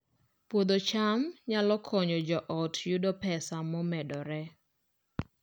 Puodho cham nyalo konyo joot yudo pesa momedore